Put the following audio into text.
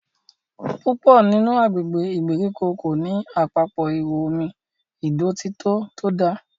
púpọ nínú agbègbè ìgbèríko ko ní Àpapọ̀ ihò omi ìdọ̀tító to dá.